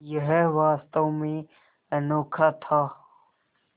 यह वास्तव में अनोखा था